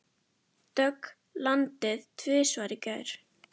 Dögg landaði tvisvar í gær.